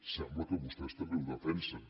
sembla que vostès també ho defensen